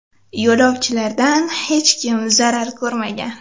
Yo‘lovchilardan hech kim zarar ko‘rmagan.